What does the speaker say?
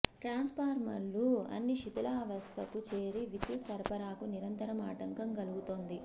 ట్రాన్స్ఫార్మర్లు అన్నీ శిధిలావస్థకు చేరి విద్యుత్ సరఫరాకు నిరంతరం ఆటంకం కలుగు తోంది